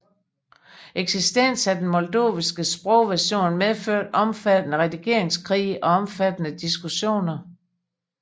Eksistensen af den moldoviske sprogversion medførte omfattende redigeringskrige og omfattende diskussioner